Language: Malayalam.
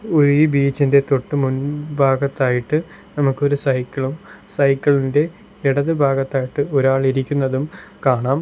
ഓ ഈ ബീച്ച് ഇന്റെ തൊട്ട് മുൻ ഭാഗത്തായിട്ട് നമുക്കൊരു സൈക്കിളും സൈക്കിൾ ഇന്റെ ഇടത് ഭാഗത്തായിട്ട് ഒരാൾ ഇരിക്കുന്നതും കാണാം.